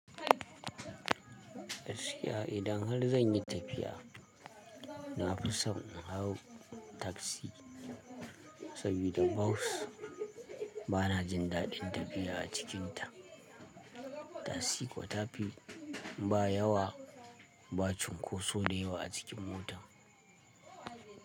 Gaskiya idan har zan yi tafiya, na fi so in hau tasi saboda bas bana jin daɗin tafiya a cikinta. Tasi kuwa ta fi ba yawa, ba cunkoso da yawa a cikin mota.